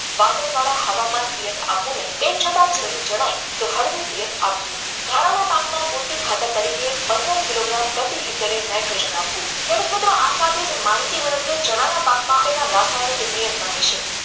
વાડા હવામાન તેમ છતાં જરૂર જણાય તો હળવું પિયત આપવું ધાણાના પાકમાં પૂરતી ખાતર તરીકે પંદર કિલો ગ્રામ પ્રતિ હેક્ટર નાઇટ્રોજન ખેડૂત મિત્રો આ સાથે માહિતી મેળવીએ જણાવવા પાકમાં રાસાયણિક નિયંત્રણ વિશે